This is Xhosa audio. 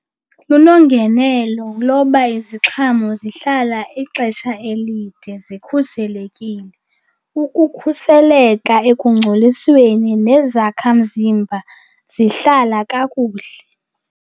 Lunongenelo loba iziqhamo zihlala ixesha elide zikhuselekile. Ukukhuseleka ekungcolisweni, nezakhamzimba zihlala kakuhle.